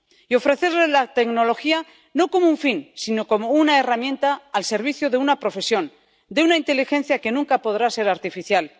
Y ofrecerles la tecnología no como un fin sino como una herramienta al servicio de una profesión, de una inteligencia que nunca podrá ser artificial.